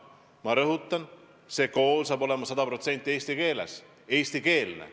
Ma rõhutan: see kool saab olema sada protsenti eestikeelne.